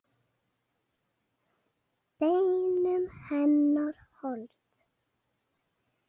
Beinum hennar hold.